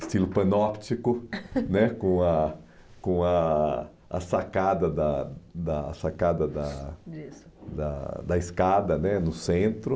estilo panóptico né, com a com a a sacada da da a sacada da disso da da escada né no centro.